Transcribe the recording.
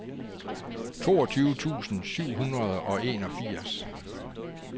toogtyve tusind syv hundrede og enogfirs